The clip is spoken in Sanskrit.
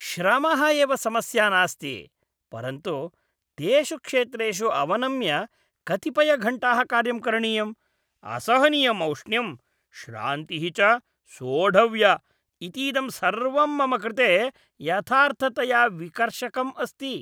श्रमः एव समस्या नास्ति, परन्तु तेषु क्षेत्रेषु अवनम्य कतिपयघण्टाः कार्यं करणीयम्, असहनीयम् औष्ण्यं, श्रान्तिः च सोढव्या, इतीदं सर्वं मम कृते यथार्थतया विकर्षकम् अस्ति।